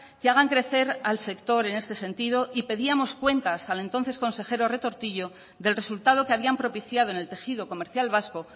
que hagan crecer al sector en este sentido y pedíamos cuentas al entonces consejero retortillo del resultado que habían propiciado en el tejido comercial vasco